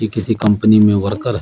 ये किसी कंपनी में वर्कर है।